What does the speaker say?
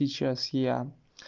сейчас я